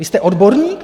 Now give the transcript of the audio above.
Vy jste odborník?